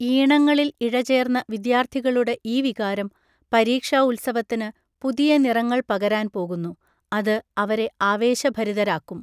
ഈണങ്ങളിൽ ഇഴചേർന്ന വിദ്യാർത്ഥികളുടെ ഈ വികാരം പരീക്ഷാ ഉത്സവത്തിന് പുതിയ നിറങ്ങൾ പകരാൻ പോകുന്നു, അത് അവരെ ആവേശഭരിതരാക്കും.